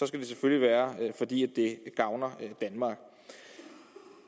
skal det selvfølgelig være fordi det gavner danmark